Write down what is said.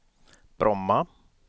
Bromma